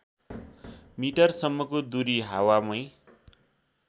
मिटरसम्मको दूरी हावामै